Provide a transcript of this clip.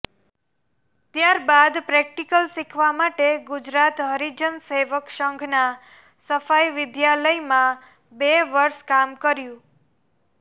ત્યારબાદ પ્રેક્ટિકલ શીખવા માટે ગુજરાત હરિજન સેવક સંઘના સફાઇ વિદ્યાલયમાં બે વર્ષ કામ કર્યું